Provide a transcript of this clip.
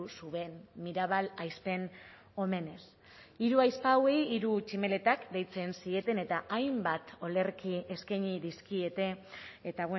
zuen mirabal ahizpen omenez hiru ahizpa hauei hiru tximeletak deitzen zieten eta hainbat olerki eskaini dizkiete eta